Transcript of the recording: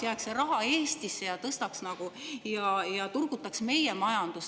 Lisaks, see raha jääks Eestisse ja turgutaks meie majandust.